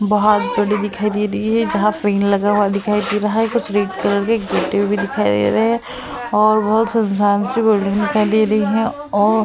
बहोत बड़ी दिखाई दे रही है। जहां लगा हुआ दिखाई दे रहा है। कुछ रेड कलर के गेटे भी दिखाई दे रहे है और बहोत सुनसान सी बिल्डिंग दिखाई दे रही है और --